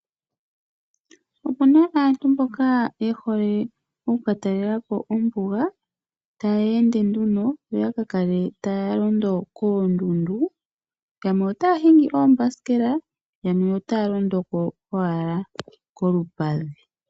Opuna aantu mboka yehole okuka talelapo ombuga, tayeende nduno yaka kale taya londo koondundu yamwe otaya londoko noombasikela yamwe otaya londoko kolupadhi.